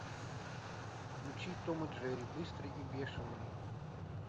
включи том и джерри быстрый и бешеный